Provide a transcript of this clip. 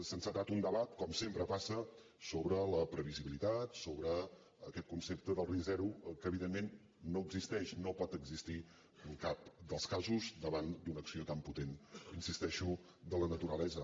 s’ha encetat un debat com sempre passa sobre la pre·visibilitat sobre aquest concepte del risc zero que evidentment no existeix no pot existit en cap dels casos davant d’una acció tan potent hi insisteixo de la naturalesa